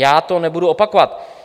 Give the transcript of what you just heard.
Já to nebudu opakovat.